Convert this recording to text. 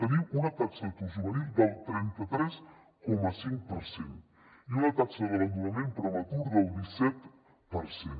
tenim una taxa d’atur juvenil del trenta tres coma cinc per cent i una taxa d’abandonament prematur del disset per cent